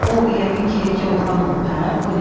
O yəqin ki oğlan olub hə?